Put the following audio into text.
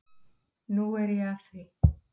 Nú er ég að því.